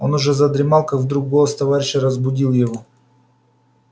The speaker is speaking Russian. он уже задремал как вдруг голос товарища разбудил его